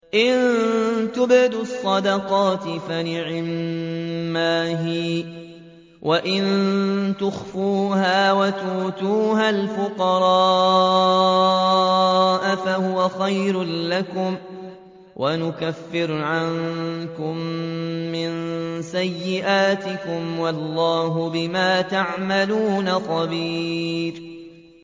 إِن تُبْدُوا الصَّدَقَاتِ فَنِعِمَّا هِيَ ۖ وَإِن تُخْفُوهَا وَتُؤْتُوهَا الْفُقَرَاءَ فَهُوَ خَيْرٌ لَّكُمْ ۚ وَيُكَفِّرُ عَنكُم مِّن سَيِّئَاتِكُمْ ۗ وَاللَّهُ بِمَا تَعْمَلُونَ خَبِيرٌ